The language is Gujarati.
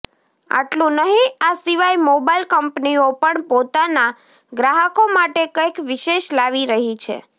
આટલુ નહિ આ સિવાય મોબાઈલ કંપનીઓ પણ પોતાના ગ્રાહકો માટે કંઈક વિશેષ લાવી રહી છે